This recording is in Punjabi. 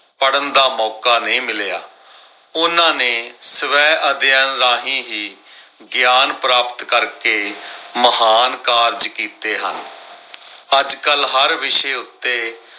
ਪੜਨ ਦਾ ਮੌਕਾ ਨਈ ਮਿਲਿਆ। ਉਹਨਾਂ ਨੇ ਸਵੈ ਅਧਿਐਨ ਰਾਹੀਂ ਹੀ ਗਿਆਨ ਪ੍ਰਾਪਤ ਕਰਕੇ ਮਹਾਨ ਕਾਰਜ ਕੀਤੇ ਹਨ। ਅੱਜ ਕੱਲ ਹਰ ਵਿਸ਼ੇ ਉੱਤੇ